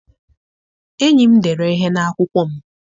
Enyi m dere ihe n'akwụkwọ m